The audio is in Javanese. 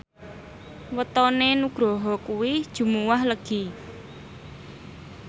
wetone Nugroho kuwi Jumuwah Legi